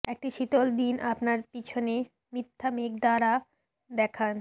একটি শীতল দিন আপনার পিছনে মিথ্যা মেঘ দ্বারা দেখান